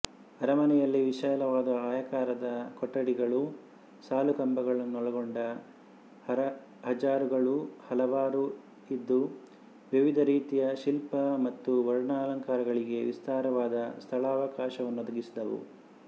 ಅರಮನೆಯಲ್ಲಿ ವಿಶಾಲವಾದ ಆಯಾಕಾರದ ಕೊಠಡಿಗಳೂ ಸಾಲುಕಂಬಗಳನ್ನೊಳಗೊಂಡ ಹಜಾರಗಳೂ ಹಲವಾರು ಇದ್ದು ವಿವಿಧ ರೀತಿಯ ಶಿಲ್ಪ ಮತ್ತು ವರ್ಣಾಲಂಕರಣಗಳಿಗೆ ವಿಸ್ತಾರವಾದ ಸ್ಥಳಾವಕಾಶವನ್ನೊದಗಿಸಿದ್ದವು